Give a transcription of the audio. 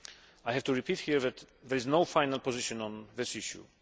I have to repeat here that there is no final position on this issue.